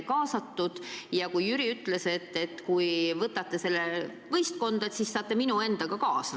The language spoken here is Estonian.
Ja Jüri siis ütles, et kui võtate tema võistkonda, siis saate minu kaasa.